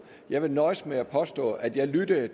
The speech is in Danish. jeg vil nøjes med at påstå at jeg lyttede